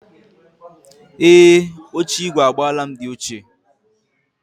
Ee, oche igwe agbala m di ochie.